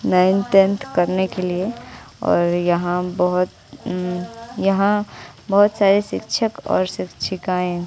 ninth tenth करने के लिए और यहां बहोत यहां बहोत सारे शिक्षक और शिक्षिकाएं--